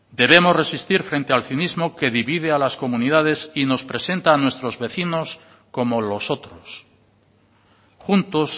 debemos resistir frente al cinismo que divide a las comunidades y nos presenta a nuestros vecinos como los otros juntos